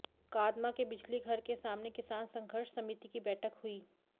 कादमा के बिजली घर के सामने किसान संघर्ष समिति की बैठक हुई